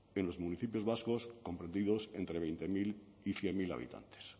en los municipios vascos comprendidos entre veinte mil y cien mil habitantes